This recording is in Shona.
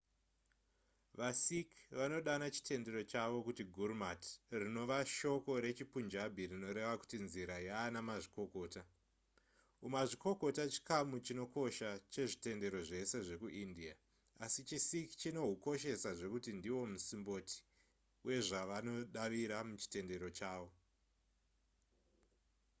vasikh vanodana chitendero chavo kuti gurmat rinova shoko rechipunjabi rinoreva kuti nzira yaana mazvikokota umazvikokota chikamu chinokosha chezvitendero zvese zvekuindia asi chisikh chinohukoshesa zvekuti ndihwo musimboti wezvavanodavira muchitendero chavo